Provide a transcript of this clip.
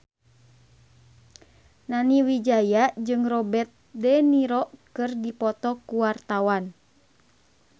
Nani Wijaya jeung Robert de Niro keur dipoto ku wartawan